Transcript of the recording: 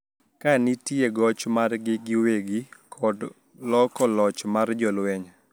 Ka nitie goch margi giwegi to kod loko loch mar jolweny